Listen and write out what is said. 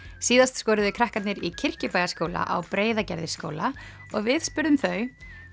síðast skoruðu krakkarnir í Kirkjubæjarskóla á Breiðagerðisskóla og við spurðum þau